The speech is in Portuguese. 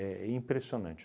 impressionante.